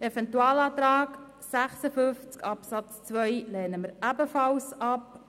Den Eventualantrag zu Artikel 56 Absatz 2 lehnen wir ebenfalls ab.